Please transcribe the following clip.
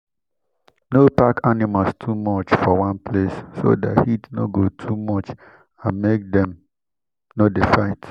no pack animals too much for one place so that heat no go too much and make dem no dey fight.